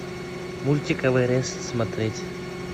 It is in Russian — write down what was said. мультик эверест смотреть